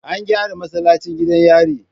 An gyara masallacin gidan yari